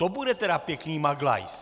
To bude tedy pěkný maglajs.